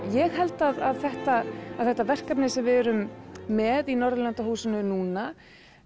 ég held að þetta þetta verkefni sem við erum með í Norðurlandahúsinu núna